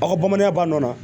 Aw ka bamananya ba nɔ la